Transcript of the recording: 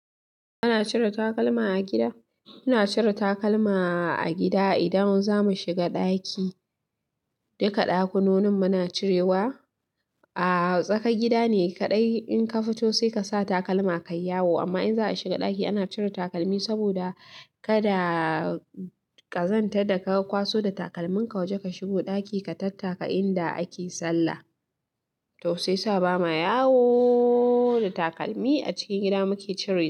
Ana cire takalma a gida? Ana cire takalma a gida idan zamu shiga ɗaki. Duka ɗakunonin muna cirewa. A tsakar gida ne kaɗai in ka fito sai ka sa takalma kayi yawo. Amma in za a shiga ɗaki ana cire takalmi saboda kada ka zantarda, ka kwaso da takalminka waje ka shigo ɗaki ka tattaka inda ake sallah. To shi yasa ba ma yawo da takalmi. A cikin gida muke cirewa.